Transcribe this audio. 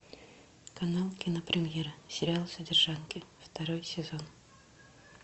канал кинопремьера сериал содержанки второй сезон